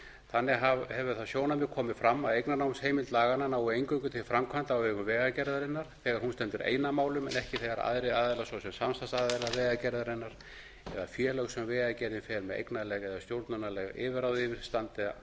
þannig hefur það sjónarmið komið fram að eignarnámsheimild laganna nái eingöngu til framkvæmda á vegum vegagerðarinnar þegar hún stendur ein að málum en ekki þegar aðrir aðilar svo sem samstarfsaðilar vegagerðarinnar eða félög sem vegagerðin fer með eignarleg eða stjórnunarleg yfirráð yfir standa